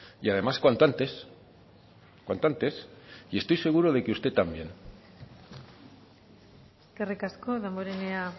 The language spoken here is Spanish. y además cuanto antes cuanto antes y estoy seguro de que usted también eskerrik asko damborenea